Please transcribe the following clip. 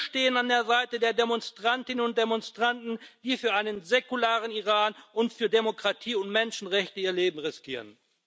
Wir stehen an der Seite der Demonstrantinnen und Demonstranten, die für einen säkularen Iran und für Demokratie und Menschenrechte ihr Leben riskieren.